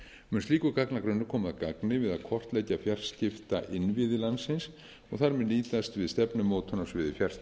mun slíkur gagnagrunnur koma að gagni við að kortleggja fjarskiptainnviði landsins og þar með nýtast við stefnumótun á sviði fjarskipta auk